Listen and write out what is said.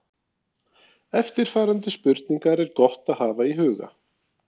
Eftirfarandi spurningar er gott að hafa í huga